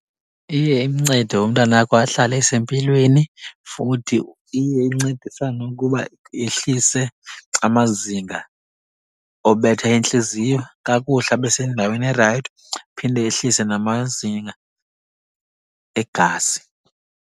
Iye imncede umntanakho ahlale esempilweni. Futhi iye incedisane ukuba yehlise amazinga obetha entliziyo kakuhle, abe sendaweni erayithi, iphinde yehlise namazinga egazi.